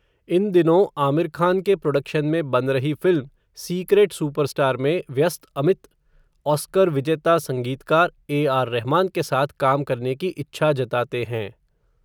इन दिनों आमिर खान के प्रोडक्शन में बन रही फ़िल्म सीक्रेट सुपरस्टार में, व्यस्त अमित, ऑस्कर विजेता संगीतकार, ए आर रहमान के साथ काम करने की इच्छा जताते हैं.